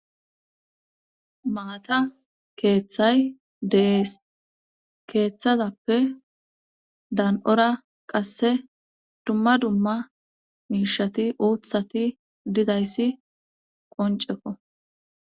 Maata keeththay dees keeththazappe daan7ora qasse dumma dumma miishati uuthati dizayssi qonceko.